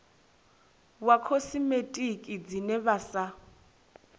wa khosimetiki dzine vha sa